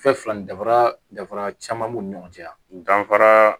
Fɛn fila nin danfara dafara caman b'u ni ɲɔgɔn cɛ danfara